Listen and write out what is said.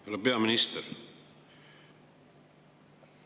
Härra peaminister!